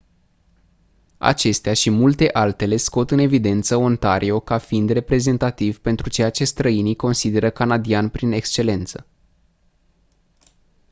acestea și multe altele scot în evidență ontario ca fiind reprezentativ pentru ceea ce străinii consideră canadian prin excelență